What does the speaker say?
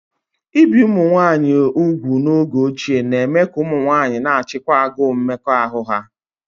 Íbi umunwaayị úgwù n'oge ochie na-eme ka ụmụ nwanyị na-achịkwa agụụ mmekọahụ ha